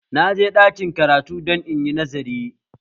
Na je ɗakin karatu don inyi nazari